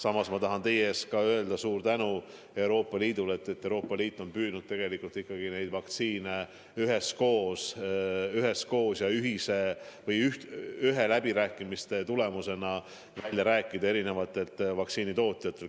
Samas ma tahan teie ees öelda suure tänu Euroopa Liidule, et Euroopa Liit on püüdnud ikkagi neid vaktsiine ühiste läbirääkimiste tulemusena eri vaktsiinitootjatelt välja rääkida.